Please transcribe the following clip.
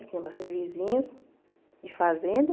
Que tinha bastante vizinhos de fazenda.